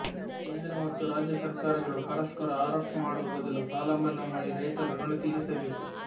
ಕೇಂದ್ರ ಮತ್ತು ರಾಜ್ಯ ಸರ್ಕಾರಗಳು ಪರಸ್ಪರ ಆರೋಪ ಮಾಡುವ ಬದಲು ಸಾಲಮನ್ನಾ ಮಾಡಿ ರೈತರ ಋಣ ತೀರಿಸಬೇಕು